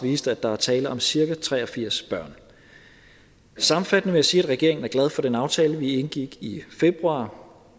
viste at der er tale om cirka tre og firs børn sammenfattende vil jeg sige at regeringen er glad for den aftale vi indgik i februar